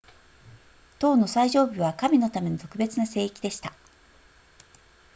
塔の最上部は神のための特別な聖域でした